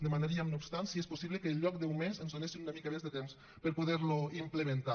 demanaríem no obstant si és possible que en lloc d’un mes ens donessin una mica més de temps per poder lo implementar